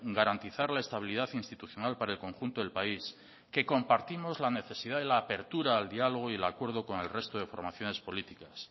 garantizar la estabilidad institucional para el conjunto del país que compartimos la necesidad de la apertura al diálogo y el acuerdo con el resto de formaciones políticas